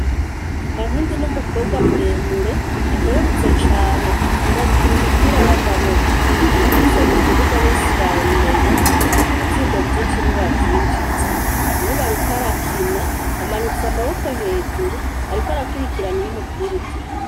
Kankindi ni umukobwa mure mure akerebutse cane akunda gukina umupira w' amaboko iyo ashitse mu kibuga bose barabimenya kuko ibtsindo vyinshi niwe avyinjiza nubu ariko arakina amanitse amaboko hejuru ariko arakirikirana iyo umupira ugiye.